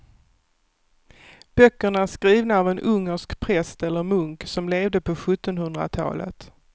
Böckerna är skrivna av en ungersk präst eller munk som levde på sjuttonhundratalet.